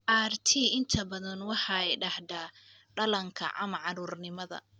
RT inta badan waxay dhacdaa dhallaanka ama carruurnimada.